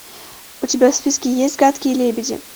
у тебя в списке есть гадкие лебеди